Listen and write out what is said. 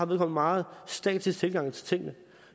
meget statisk tilgang til tingene